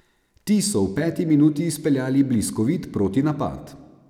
Ti so v peti minuti izpeljali bliskovit protinapad.